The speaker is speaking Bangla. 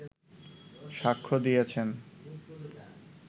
সাক্ষ্য দিয়েছেন